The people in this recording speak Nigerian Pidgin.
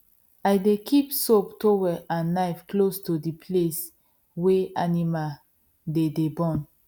i dey keep soap towel and knife close to the place wey animal dey dey born